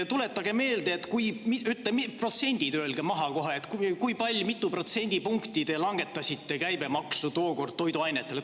Tuletage meelde, protsendid öelge maha kohe, mitu protsendipunkti te langetasite käibemaksu tookord toiduainetele.